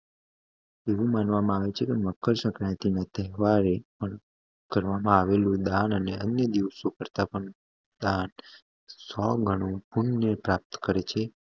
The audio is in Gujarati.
એવું માનવામાં આવે છેકે મકર સંક્રાંતિ નો તહેવારે કરવામાં આવેલું દાન અને અન્ય દીવસો કરતા પણ સો ગણું પુણ્ય પ્રાપ્ત કરે છે